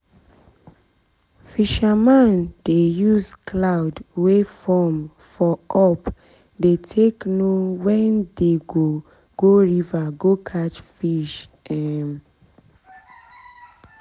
fisherman dey use cloud wey form for up dey take know when they go go river go catch fish um